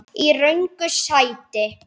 Í röngu sæti.